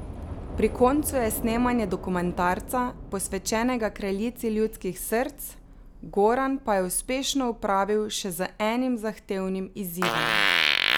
Pri koncu je snemanje dokumentarca, posvečenega kraljici ljudskih src, Goran pa je uspešno opravil še z enim zahtevnim izzivom.